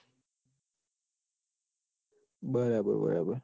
બરાબર બરાબર